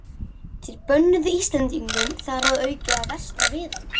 Þeir bönnuðu Íslendingum þar að auki að versla við hann.